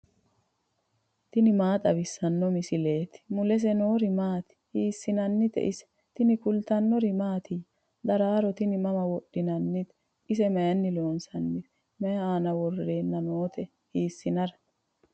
tini maa xawissanno misileeti ? mulese noori maati ? hiissinannite ise ? tini kultannori mattiya? daraaro tini mama wodhinnannite? ise mayiinni loonsoonnise? mayi aanna worrenna nootte? hiisinnara?